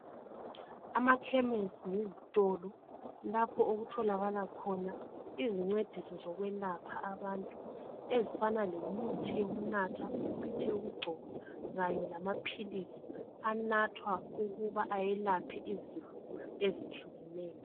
Amakhemesi yizitolo lapho, okutholakala khona, izincediso zokwelapha abantu. Ezifana lemithi yokunatha, imlthi yokugcoba, kanye lamaphilisi. Anathwa ukuba ayelaphe izifo ezehlukeneyo.